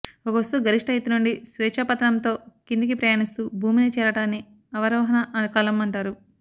ఒక వస్తువు గరిష్ఠ ఎత్తు నుండి స్వేచ్ఛా పతనంతో కిందికి ప్రయాణిస్తూ భూమిని చేరటాన్ని అవరోహణ కాలం అంటారు